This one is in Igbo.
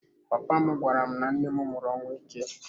Papa m gwara m na nne m nwụrụ ọnwụ ike.